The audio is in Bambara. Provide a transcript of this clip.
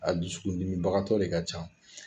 A dususkundimibagatɔ de ka ca